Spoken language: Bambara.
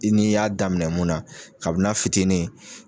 I n'i y'a daminɛ mun na kabin'a fitini